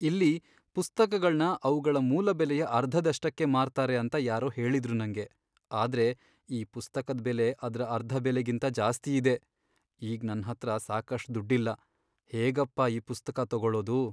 ಇಲ್ಲಿ ಪುಸ್ತಕಗಳ್ನ ಅವ್ಗಳ ಮೂಲ ಬೆಲೆಯ ಅರ್ಧದಷ್ಟಕ್ಕೆ ಮಾರ್ತಾರೆ ಅಂತ ಯಾರೋ ಹೇಳಿದ್ರು ನಂಗೆ. ಆದ್ರೆ ಈ ಪುಸ್ತಕದ್ ಬೆಲೆ ಅದ್ರ ಅರ್ಧ ಬೆಲೆಗಿಂತ ಜಾಸ್ತಿಯಿದೆ. ಈಗ್ ನನ್ಹತ್ರ ಸಾಕಷ್ಟ್ ದುಡ್ಡಿಲ್ಲ, ಹೇಗಪ್ಪ ಈ ಪುಸ್ತಕ ತಗೊಳೋದು?